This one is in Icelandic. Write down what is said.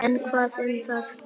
En hvað um það